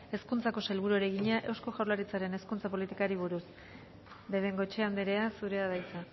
hezkuntzako sailburuari egina eusko jaurlaritzaren hezkuntza politikari buruz de bengoechea andrea zurea da hitza